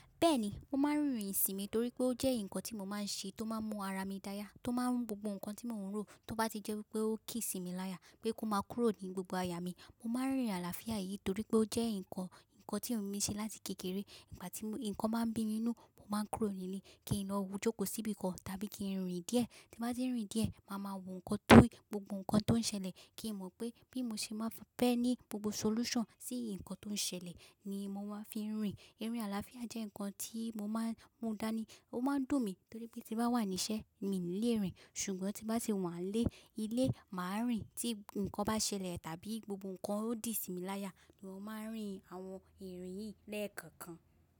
Bẹ́ẹ̀ni, mo máa ń rìnrìn-ìsìn mi torí pé ó jẹ́ nǹkan tí mo máa ń ṣe tó máa ń mú ara mi dáya, tó máa ń mú gbogbo nǹkan tí mò ń rò tó bá ti jẹ́ pé ó ki si mi láyà pé kó máa kúrò ní gbogbo àyà mi. Mo máa ń rìnrìn àlàáfíà yìí torí pé ó jẹ́ nǹkan, nǹkan tí mo ń ṣe láti kékeré. Ìgbà tí nǹkan máa ń bí nínú, mo máa ń kúrò nílé kí lo jókòó síbi kan tàbí kí n rìn díẹ̀. Tí mo bá ti rìn díẹ̀, màá ma wò nǹkan tó rí gbogbo nǹkan tó ń ṣẹlẹ̀ kí mo mọ̀ pé bí mo ṣe máa fẹ́ ní gbogbo solution sí nǹkan tó ń ṣẹlẹ̀ ni mo máa fi ń rìn. Irìn àlàáfíà jẹ́ nǹkan tí mo máa ń mú dání. Ó máa ń dùn mí torí pé tí bá wà níṣẹ́, mi ò ní lè rìn ṣùgbọ́n tí bá ti wà nílé, ilé, màá rìn. Tí nǹkan bá ṣẹlẹ̀ tàbí gbogbo nǹkan o di si mi láyà ni mo máa ń rìn àwọn ìrìn yìí lẹ́ẹ̀kọ̀kan.